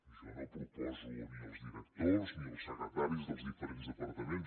jo no proposo ni els directors ni els secretaris dels diferents departaments